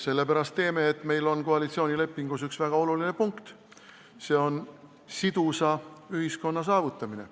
Sellepärast teeme, et meil on koalitsioonilepingus üks väga oluline punkt: see on sidusa ühiskonna saavutamine.